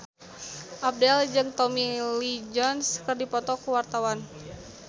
Abdel jeung Tommy Lee Jones keur dipoto ku wartawan